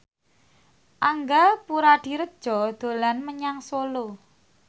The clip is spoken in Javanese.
Angga Puradiredja dolan menyang Solo